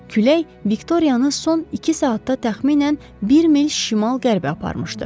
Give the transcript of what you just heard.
Külək Viktoriyanı son iki saatda təxminən bir mil şimal-qərbə aparmışdı.